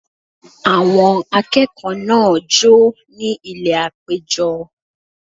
Àwọn akẹ́kọ̀ọ́ náà jó ní ilẹ̀ àpéjọ